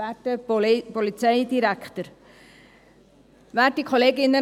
Für die SP-JUSO-PSA: Lydia Baumann.